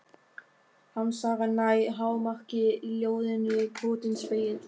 Harmsagan nær hámarki í ljóðinu Brotinn spegill.